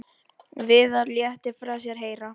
Viðar léti frá sér heyra.